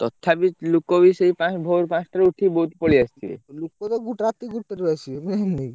ତଥାପି ଲୋକ ବି ସେଇ ଭୋରୁ ପାଞ୍ଚଟାରୁ ଉଠି ବହୁତ ପଳେଇଆସିଥିବେ। ଲୋକତ ଗୋଟେ ରାତି ଗୋଟେରେ ଆସିବେ।